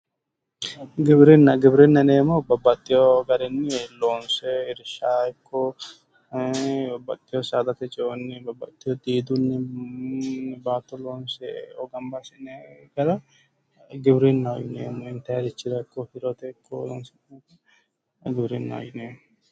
Giwirinna, giwirinna yinneemmohu babbaxeyo garinni loonse irsha ikko babbaxeyo saadate ceonni ,diidunni hattonno baatto loonse amaxinanni gara intannire afinanniha giwirinnaho yinneemmo, ittate ikko udirate loonse afi'neemmoha giwirinnaho yinneemmo